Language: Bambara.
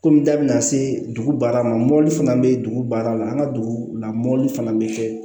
Kɔmi da bɛna se dugu baara ma mɔbili fana bɛ dugu baara la an ka dugu la mɔbili fana bɛ kɛ